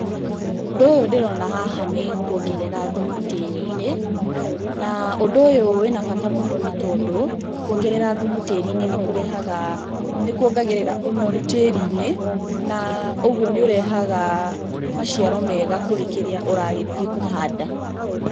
Ũndũ ũyũ ndĩrona haha nĩ kuongerera thumu tĩri-inĩ, na ũndũ ũyũ wĩ na bata nĩ tondũ kuongerea, thumu tĩri-inĩ nĩ kuongagĩrĩra ũnoru tĩri-inĩ na ũguo nĩ ũrehaga maciaro mega kũrĩ kĩrĩa ũragĩthiĩ kũhanda.